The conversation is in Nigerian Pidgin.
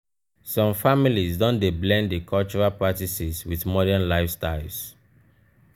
some families don dey blend di cultural practices wit modern lifestyles.